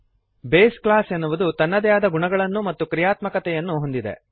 base class ಎನ್ನುವುದು ತನ್ನದೇ ಆದ ಗುಣಗಳನ್ನು ಮತ್ತು ಕ್ರಿಯಾತ್ಮಕತೆಯನ್ನು ಹೊಂದಿದೆ